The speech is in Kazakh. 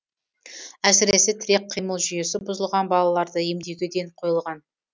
әсіресе тірек қимыл жүйесі бұзылған балаларды емдеуге ден қойылған